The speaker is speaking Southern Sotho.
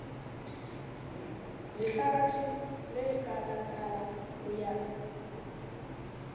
lehlabathe le kalaka ho ya